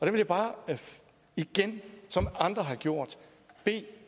jeg bare igen som andre har gjort bede